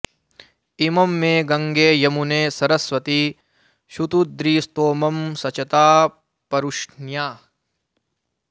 इमं मे गङ्गे यमुने सरस्वति शुतुद्रि स्तोमं सचता परुष्ण्या